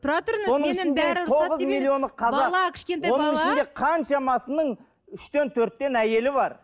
оның ішінде қаншамасының үштен төрттен әйелі бар